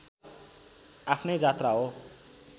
आफ्नै जात्रा हो